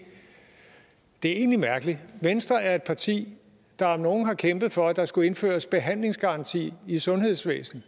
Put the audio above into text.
det er egentlig mærkeligt venstre er et parti der om nogen har kæmpet for at der skulle indføres behandlingsgaranti i sundhedsvæsenet